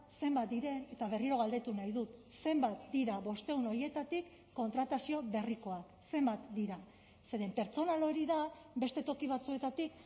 zenbat diren eta berriro galdetu nahi dut zenbat dira bostehun horietatik kontratazio berrikoak zenbat dira zeren pertsonal hori da beste toki batzuetatik